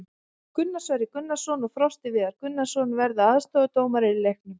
Gunnar Sverrir Gunnarsson og Frosti Viðar Gunnarsson verða aðstoðardómarar í leiknum.